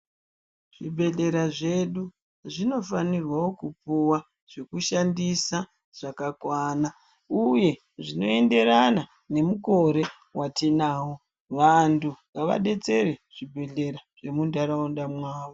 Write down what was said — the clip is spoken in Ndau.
Zvibhehlera zvedu zvinofanirwa kupuwa zvekushandisa zvakakwana uye zvinoenderana nemukore watinawo vanthu, ngavadetsere zvibhehlera zvemunharaunda mwavo.